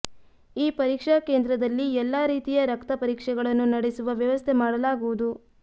ಈ ಪರೀಕ್ಷಾ ಕೇಂದ್ರದಲ್ಲಿ ಎಲ್ಲಾ ರೀತಿಯ ರಕ್ತ ಪರೀಕ್ಷೆಗಳನ್ನು ನಡೆಸುವ ವ್ಯವಸ್ಥೆ ಮಾಡಲಾಗುವುದು